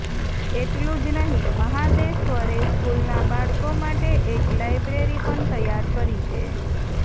એટલું જ નહીં મહાદેશ્વરે સ્કૂલના બાળકો માટે એક લાયબ્રેરી પણ તૈયાર કરી છે